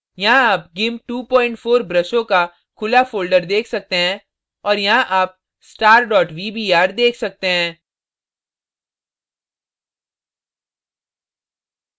यहाँ आप gimp 24 ब्रशों का खुला folder देख सकते हैं और यहाँ आप star vbr देख सकते हैं